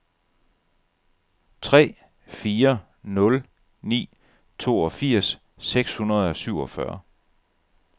tre fire nul ni toogfirs seks hundrede og syvogfyrre